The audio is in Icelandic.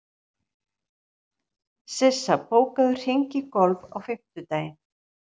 Sissa, bókaðu hring í golf á fimmtudaginn.